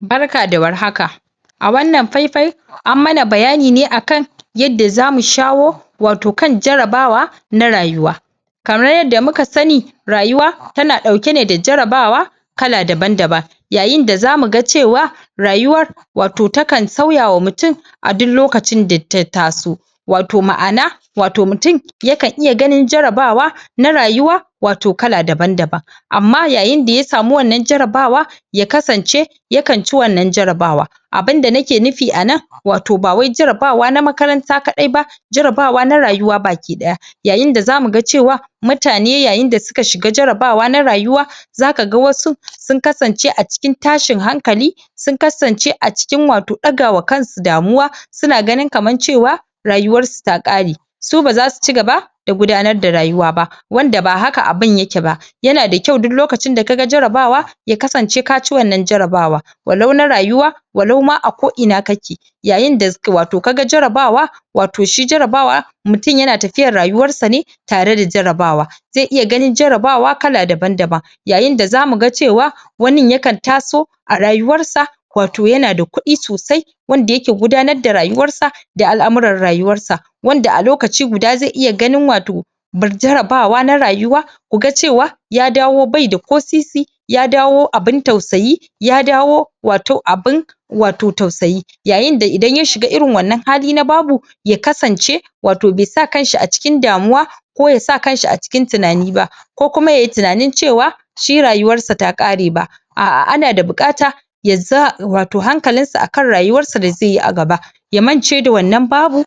Barka da war haka, a wannan fai-fai an mana bayani ne akan yadda zamu shawo wato kan jarabawa na rayuwa. Kamar yadda muka sani rayuwa tana ɗauke ne da jarabawa kala daban-daban yayinda za muga cewa rayuwar wato takan sauyawa mutin a duk lokacin da ta taso wato ma'ana wato mutin yakan iya ganin jarabawa na rayuwa wato kala daban-daban amma yayinda ya samu wannan jarabawa ya kasance yakan ci wannan jarabawa abinda nake nufi anan wato ba wai jarabawa na makaranta ƙaɗai ba jarabawa na rayuwa baki ɗaya yayinda za muga cewa mutane yayinda suka shiga jarabawa na rayuwa za kaga wasu sun kasance a cikin tashin hankali sun kasance a cikin wato ɗagawa kansu damuwa suna ganin kaman cewa rayuwar su ta ƙare su ba zasu cigaba da gudanar da rayuwa ba wanda ba haka abun yake ba yana da kyau duk lokacin da kaga jarabawa ya kasance kaci wannan jarabawa walau na rayuwa walau ma a ko ina kake yayinda toh wato kaga jarabawa wato shi jarabawa mutum yana tafiyar rayuwar sa ne tareda jarabawa ze iya ganin jarabawa kala daban-daban. Yayinda za muga cewa wani yakan taso a rayuwar sa wato yana da kuɗi sosai wanda yake gudanar da rayuwar sa da al'amurar rayuwar sa wanda a lokaci guda ze iya ganin wato jarabawa na rayuwa ku ga cewa ya dawo bai da ko sisi ya dawo abin tausayi ya dawo wato abin wato tausayi. Yayinda idan ya shiga irin wannan hali na babu ya kasance wato be sa kanshi a cikin damuwa ko ya sa kanshi a cikin tinani ba ko kuma yayi tinanin cewa shi rayuwar sa ta ƙare ba a'a ana da buƙata yasa wato hakalinsa akan rayuwarsa da ze yi a gaba ya mance da wannan babu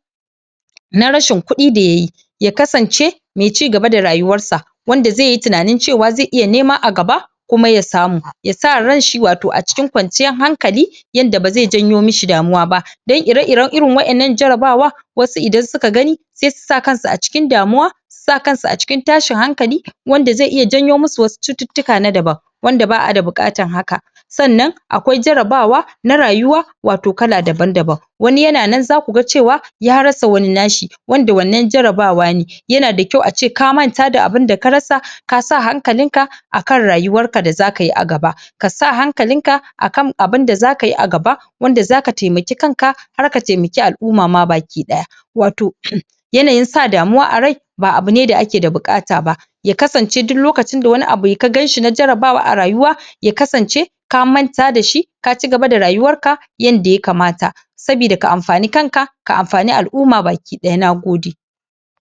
na rashin kuɗi da yayi ya kasance mai cigaba da rayuwar sa wanda zeyi tinanin cewa ze iya nema a gaba kuma ya samu ya sa ranshi wato a cikin kwanciyar hankali yadda ba ze janyo mishi damuwa ba dan ire-iren irin waƴannan jarabawa wasu idan suka gani sesu sa kansu a cikin damuwa su sa kansu a cikin tashin hankali wanda ze iya janyo musu wasu cututtuka na daban wanda ba'ada buƙatan haka. Sannan akwai jarabawa na rayuwa wato kala daban-daban wani yana nan za kuga cewa ya rasa wani nashi wanda wannan jarabawa ne yana da kyau a ce ka manta da abinda ka rasa kasa hankalinka a kan rayuwar ka da za kayi a gaba kasa hankalinka a kan abinda za kayi a gaba wanda zaka taimaki kanka har ka taimaki al'uma ma baki ɗaya wato yanayin sa damuwa a rai ba abune da ake da buƙata ba ya kasance duk lokacin da wani abu ka ganshi na jarabawa a rayuwa ya kasance ka manta da shi ka cigaba da rayuwar ka yanda ya kamata. Sabida ka anfani kanka ka amfan ka anfani al'uma baki ɗaya, nagode.